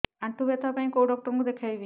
ଆଣ୍ଠୁ ବ୍ୟଥା ପାଇଁ କୋଉ ଡକ୍ଟର ଙ୍କୁ ଦେଖେଇବି